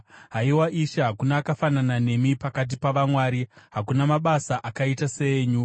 Haiwa Ishe, hakuna akafanana nemi pakati pavamwari; hakuna mabasa akaita seenyu.